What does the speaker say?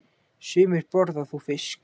Sumir borða þó fisk.